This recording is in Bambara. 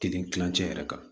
Kelen kilancɛ yɛrɛ kan